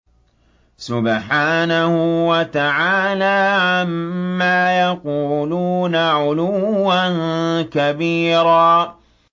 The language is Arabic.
سُبْحَانَهُ وَتَعَالَىٰ عَمَّا يَقُولُونَ عُلُوًّا كَبِيرًا